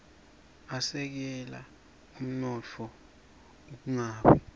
asekela umnotfo ungawi